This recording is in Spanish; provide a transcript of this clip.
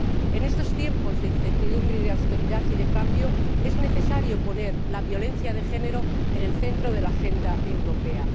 En estos tiempos de incertidumbre, de austeridad y de cambio, es necesario poner la violencia de género en el centro de la agenda europea.